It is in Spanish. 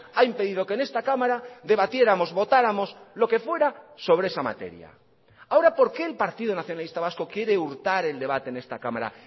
ha impedido que en esta cámara debatiéramos votáramos lo que fuera sobre esa materia ahora porque el partido nacionalista vasco quiere hurtar el debate en esta cámara